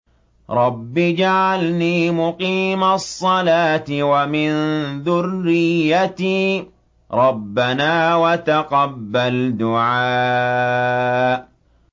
رَبِّ اجْعَلْنِي مُقِيمَ الصَّلَاةِ وَمِن ذُرِّيَّتِي ۚ رَبَّنَا وَتَقَبَّلْ دُعَاءِ